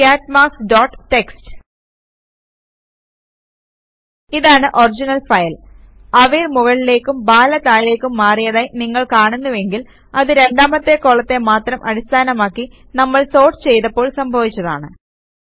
കാട്ട് marks dot TXT ഇതാണ് original file അവിർ മുകളിലേക്കും ബാല താഴേക്കും മാറിയതായി നിങ്ങൾ കാണുന്നുവെങ്കിൽ അത് രണ്ടാമത്തെ കോളത്തെ മാത്രം അടിസ്ഥാനമാക്കി നമ്മൾ സോർട്ട് ചെയ്തപ്പോൾ സംഭാവിച്ചതാണ്